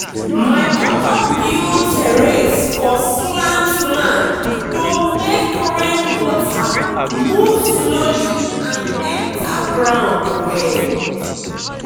my papa build terrace for slant land to make rain water move slowly and enter ground well.